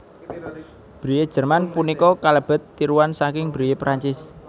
Brie Jerman punika kalebet tiruan saking Brie Perancis